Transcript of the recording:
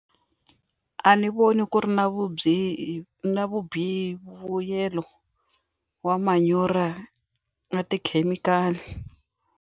A ni voni ku ri na na vubihi vuyelo wa manyoro na tikhemikhali.